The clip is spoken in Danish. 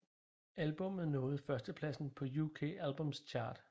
Albummet nåede førstepladsen på UK Albums Chart